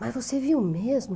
Mas você viu mesmo?